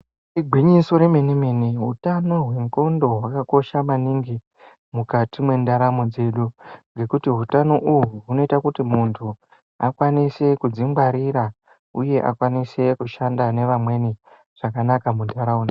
Igwinyiso remene mene hutano hwengonxo hwakakosha maningi mukati mendaramo dzedu ngekuti hutano uhu hunoita kuti muntu kuzvingwarira zvinenge zvakanaka.